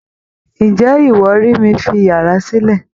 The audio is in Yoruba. Ǹjẹ́ iwọ rí mí fi yàrá silẹ?